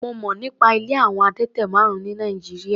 Mo mọ̀ nípa ilé àwọn adẹ́tẹ̀ márùn-ún ní Nàìjíríà.